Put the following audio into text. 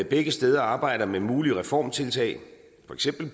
begge steder arbejder med mulige reformtiltag